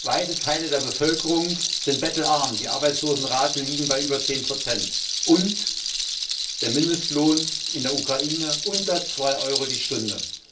Weite Teile der Bevölkerung sind bettelarm, die Arbeitslosenraten liegen bei über 10, und der Mindestlohn in der Ukraine liegt unter 2Euro pro Stunde.